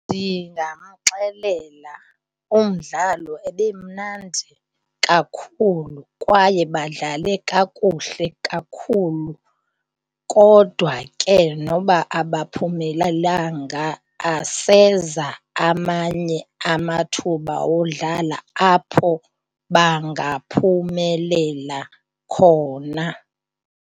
Ndingamxelela umdlalo ebemnandi kakhulu kwaye badlale kakuhle kakhulu kodwa ke noba abaphumelelanga aseza amanye amathuba wodlala apho bangaphumelela khona.